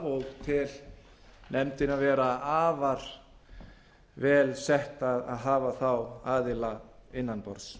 og tel nefndina vera afar vel setta að hafa þá aðila innan borðs